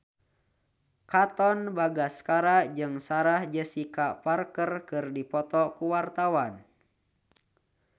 Katon Bagaskara jeung Sarah Jessica Parker keur dipoto ku wartawan